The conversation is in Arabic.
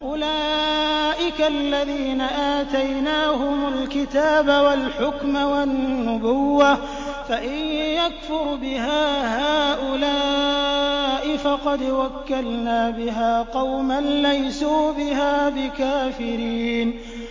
أُولَٰئِكَ الَّذِينَ آتَيْنَاهُمُ الْكِتَابَ وَالْحُكْمَ وَالنُّبُوَّةَ ۚ فَإِن يَكْفُرْ بِهَا هَٰؤُلَاءِ فَقَدْ وَكَّلْنَا بِهَا قَوْمًا لَّيْسُوا بِهَا بِكَافِرِينَ